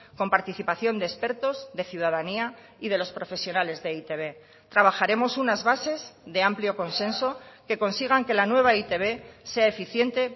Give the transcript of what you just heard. con participación de expertos de ciudadanía y de los profesionales de e i te be trabajaremos unas bases de amplio consenso que consigan que la nueva e i te be sea eficiente